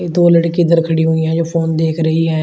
ये दो लड़की इधर खड़ी हुई है जो फोन देख रही है।